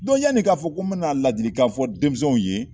yanni e k'a fɔ ko n bɛna ladilikan fɔ denmisɛnw ye